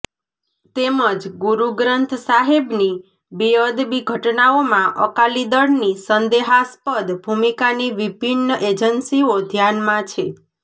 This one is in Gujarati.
તેમજ ગુરુ ગ્રંથ સાહેબની બેઅદબી ઘટનાઓમા અકાલી દળની સંદેહાસ્પદ ભૂમિકાની વિભિન્ન એજન્સીઓ ધ્યાનમા છે